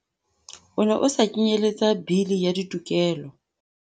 O ne o sa kenyeletsa Bili ya Ditokelo.